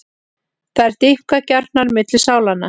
Þær dýpka gjárnar milli sálanna.